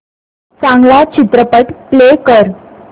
चांगला चित्रपट प्ले कर